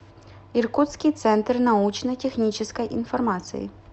иркутский центр научно технической информации